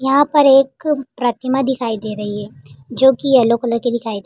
यहाँ पे एक प्रतिमा दिखाई दे रही है जोकि येलो कलर की दिखाई दे --